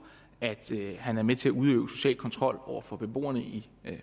at han er med til at udøve social kontrol over for beboerne i